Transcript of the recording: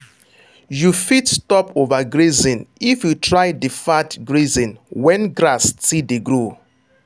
you fit stop overgrazing if you try deferred grazing when grass still dey grow.